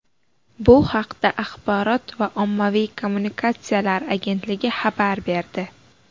Bu haqda Axborot va ommaviy kommunikatsiyalar agentligi xabar berdi .